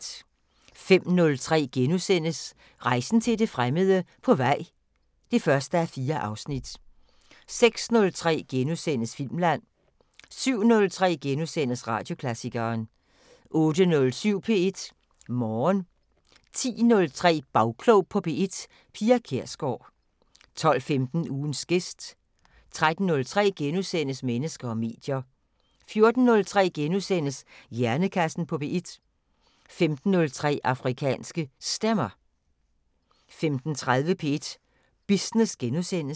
05:03: Rejsen til det fremmede: På vej (1:4)* 06:03: Filmland * 07:03: Radioklassikeren * 08:07: P1 Morgen 10:03: Bagklog på P1: Pia Kjærsgaard 12:15: Ugens gæst 13:03: Mennesker og medier * 14:03: Hjernekassen på P1 * 15:03: Afrikanske Stemmer 15:30: P1 Business *